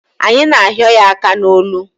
Anyị na ahịo ya aka n'olu